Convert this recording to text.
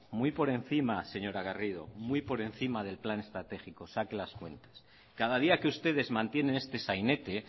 muy por encima señora garrido muy por encima del plan estratégico saque las cuentas cada día que ustedes mantienen este sainete